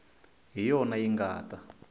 hi yona yi nga ta